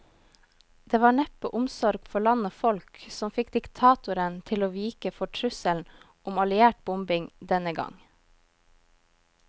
Det var neppe omsorg for land og folk som fikk diktatoren til å vike for trusselen om alliert bombing denne gang.